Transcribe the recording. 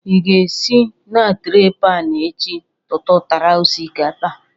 Ị ga-esi na tray pan echi tụtụtara osikapa?